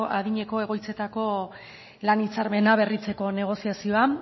adineko egoitzetako lan hitzarmena berritzeko negoziazioa